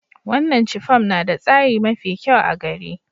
Wanan chiffon na da tsari mafi kyau a gari.